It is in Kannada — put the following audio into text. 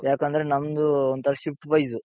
ಯಾಕಂದ್ರೆ ನಮ್ದು ಒಂಥರಾ shift wise.